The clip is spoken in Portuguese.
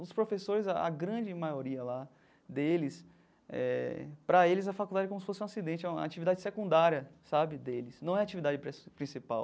Os professores, a grande maioria lá deles eh, para eles a faculdade é como se fosse um acidente, é uma atividade secundária sabe deles, não é atividade princi principal.